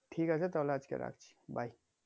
ঠিক আছে তাহোলে আজকে রাখছি bye